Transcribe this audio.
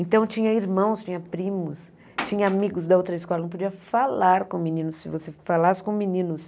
Então, tinha irmãos, tinha primos, tinha amigos da outra escola, não podia falar com meninos, se você falasse com meninos.